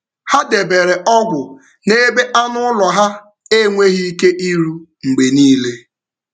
um Ha debere ọgwụ n’ebe anụ um ụlọ ha enweghị ike iru mgbe niile.